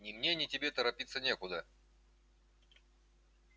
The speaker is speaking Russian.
ни мне ни тебе торопиться некуда